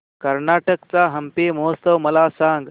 कर्नाटक चा हम्पी महोत्सव मला सांग